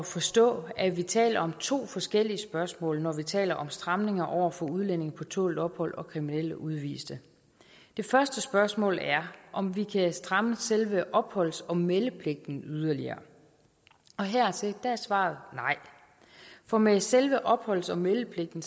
forstå at vi taler om to forskellige spørgsmål når vi taler om stramninger over for udlændinge på tålt ophold og kriminelle udviste det første spørgsmål er om vi kan stramme selve opholds og meldepligten yderligere og hertil er svaret nej for med selve opholds og meldepligten